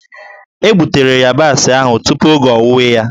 E gbutere yabasị ahụ tupu oge owuwe ya.